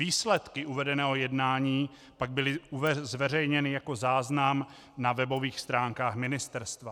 Výsledky uvedeného jednání pak byly zveřejněny jako záznam na webových stránkách ministerstva.